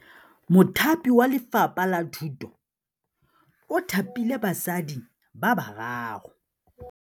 Mothapi wa Lefapha la Thutô o thapile basadi ba ba raro.